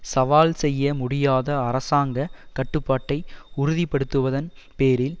சவால் செய்ய முடியாத அரசாங்க கட்டுப்பாட்டை உறுதிப்படுத்துவதன் பேரில்